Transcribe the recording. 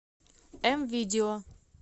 мвидео